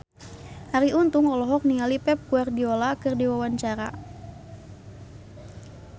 Arie Untung olohok ningali Pep Guardiola keur diwawancara